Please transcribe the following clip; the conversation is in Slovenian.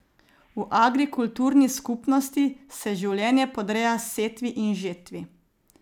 V agrikulturni skupnosti se življenje podreja setvi in žetvi.